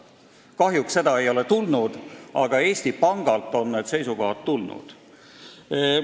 Kahjuks seda ei ole tehtud, aga Eesti Pangalt on need seisukohad tulnud.